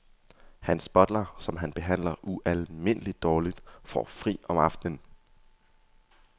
Hans butler, som han behandler ualmindeligt dårligt, får fri om aftenen.